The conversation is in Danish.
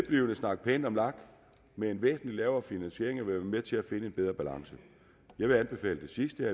snakke pænt om lag med en væsentlig lavere finansiering vil være med til at finde en bedre balance jeg vil anbefale det sidste